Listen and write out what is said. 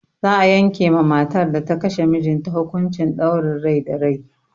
Za a yanke ma matar da ta kashe mijinta hukuncin ɗaurin rai da rai.